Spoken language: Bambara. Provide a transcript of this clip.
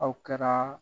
Aw kɛra